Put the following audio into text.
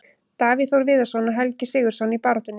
Davíð Þór Viðarsson og Helgi SIgurðsson í baráttunni.